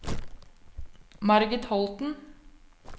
Margit Holten